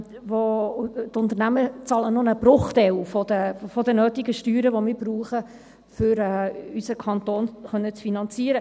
Die Unternehmen zahlen noch einen Bruchteil der nötigen Steuern, die wir brauchen, um unseren Kanton finanzieren zu können.